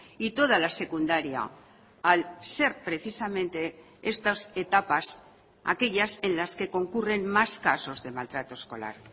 y toda la secundaria al ser precisamente estas etapas aquellas en las que concurren más casos de maltrato escolar